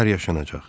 Nələr yaşanacaq?